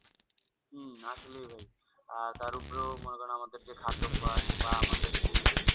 হম আসলেই ভাই আর তার উপরেও মনে করেন যে খাদ্য অভ্যাস বা আমাদের যেই